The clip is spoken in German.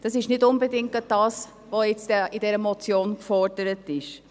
Das ist nicht unbedingt das, was in dieser Motion gefordert ist.